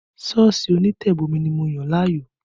Sọ́ọ̀sì onítẹ̀bomi ni mo yàn láàyò